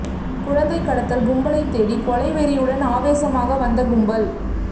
குழந்தை கடத்தல் கும்பலைத் தேடி கொலை வெறியுடன் ஆவேசமாக வந்த கும்பல்